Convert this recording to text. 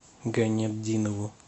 гайнетдинову